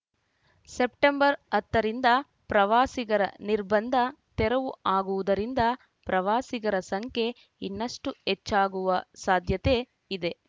September ಹತ್ತ ರಿಂದ ಪ್ರವಾಸಿಗರ ನಿರ್ಬಂಧ ತೆರವು ಆಗುವುದರಿಂದ ಪ್ರವಾಸಿಗರ ಸಂಖ್ಯೆ ಇನ್ನಷ್ಟುಹೆಚ್ಚಾಗುವ ಸಾಧ್ಯತೆ ಇದೆ